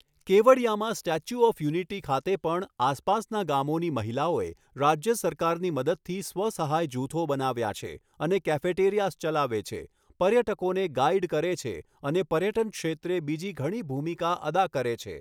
કેવડિયામાં statue of unity ખાતે પણ આસપાસના ગામોની મહિલાઓએ રાજ્ય સરકારની મદદથી સ્વ સહાય જૂથો બનાવ્યા છે અને કેફેટેરિયાસ ચલાવે છે, પર્યટકોને ગાઈડ કરે છે અને પર્યટન ક્ષેત્રે બીજી ઘણી ભૂમિકા અદા કરે છે.